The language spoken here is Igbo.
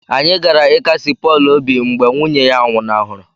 Anyị gara ịkasi Pọl obi mgbe nwunye a nwụnahụrụ